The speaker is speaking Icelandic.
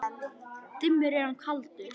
Dimmur er hann og kaldur.